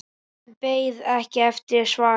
En beið ekki eftir svari.